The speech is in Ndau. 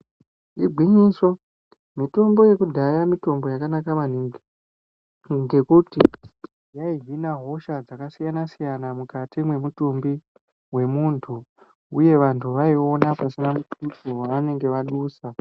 Igwinyiso, mitombo yekudhaya mitombo yakanaka maningi ngekuti yaihina hosha dzakasiyana-siyana mukati memutumbi wemuntu uye vantu vaiuwona pasina mutuso wevanenge vadusa.